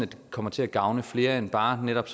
det kommer til at gavne flere end bare netop